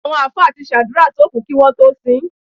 Àwọn àlùfáà ti àdúrà sókùú kí wọ́n tó sin ín.